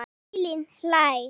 Elín hlær.